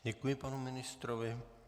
Děkuji panu ministrovi.